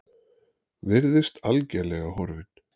Virðist algerlega horfinn.